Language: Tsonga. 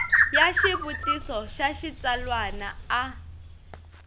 ya xivutiso xa xitsalwana a